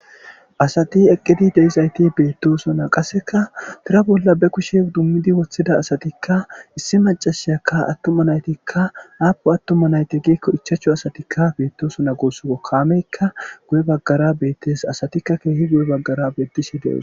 Asati eqidi deiza asati betosona qasekka tira bola ba kushshe idimidi wothida asatikka issi maccashshiyakka issi atummatikja appuni atumati dizo gikko ichchachu asatikka betosona gusikko kameyika guye bagara beteesi gusikko asatikka kehi guye bagara betosona gusikko